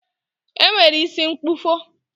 E nwere isi mkpụfọ